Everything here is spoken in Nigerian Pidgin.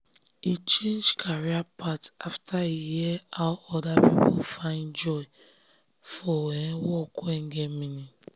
e change career path after e hear how other people find joy for um work wey get meaning.